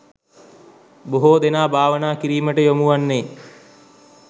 බොහෝ දෙනා භාවනා කිරීමට යොමු වන්නේ